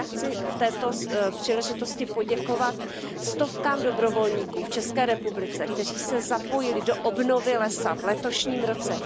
Já chci při této příležitosti poděkovat stovkám dobrovolníků v České republice, kteří se zapojili do obnovy lesa v letošním roce.